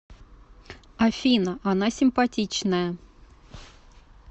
афина она симпатичная